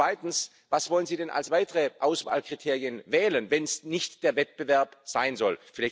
Zweitens Was wollen Sie denn als weitere Auswahlkriterien wählen, wenn es nicht der Wettbewerb sein soll?